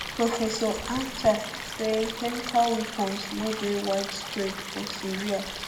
professor achcar say say chemical weapons no dey widespread for syria